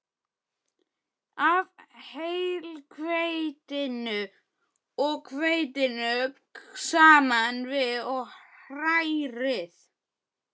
af heilhveitinu og hveitinu saman við og hrærið.